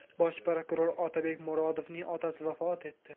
Bosh prokuror Otabek Murodovning otasi vafot etdi.